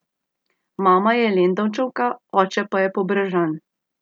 Mama je Lendavčanka, oče pa Pobrežan.